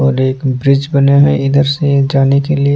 और एक ब्रिज बने हुए है इधर से जाने के लिए --